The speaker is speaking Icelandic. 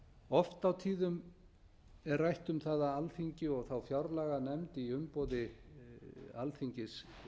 oft á tíðum er rætt um það að alþingi og þá fjárlaganefnd í umboði alþingis